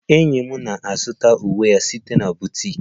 Enyi m na-azụta uwe ya site na boutique